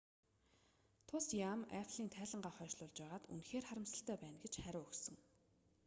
тус яам apple-н тайлангаа хойшлуулж байгаад үнэхээр харамсалтай байна гэж хариу өгсөн